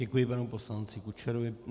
Děkuji panu poslanci Kučerovi.